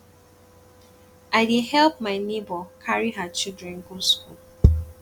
i dey help my nebor carry her children go school